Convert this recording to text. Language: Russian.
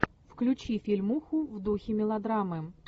включи фильмуху в духе мелодрамы